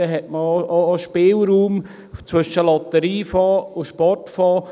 Dann hat man auch Spielraum zwischen Lotteriefonds und Sportfonds.